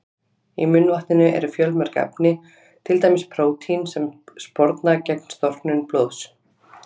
Í munnvatninu eru fjölmörg efni, til dæmis prótín sem sporna gegn storknun blóðs.